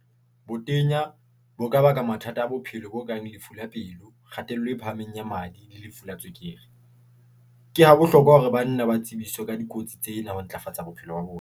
Botenya bo ka baka mathata a bophelo bo kang lefu la pelo, kgatello e phahameng ya madi le lefu la tswekere. Ke ha bohlokwa hore banna ba tsebiswe ka dikotsi tsena ho ntlafatsa bophelo ba bona.